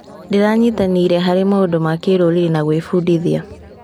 Ndĩranyitanĩire harĩ maũndũ ma kĩrũrĩĩ ma gwĩbundithia.